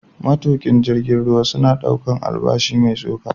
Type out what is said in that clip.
Matuƙa jirgin ruwa suna ɗaukar albashi mai tsoka.